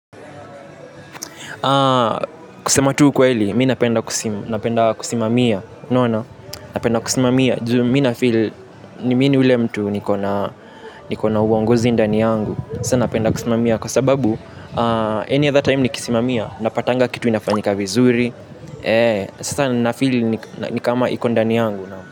Kusema tu ukweli, mi napenda kusimamia unaona, napenda kusimamia Minafili, nimini ule mtu nikona uongozi ndani yangu. Sasa napenda kusimamia. Kwa sababu, any other time nikisimamia napatanga kitu inafanyika vizuri. Sasa nafili nikama iko ndani yangu.